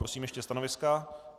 Prosím ještě stanoviska.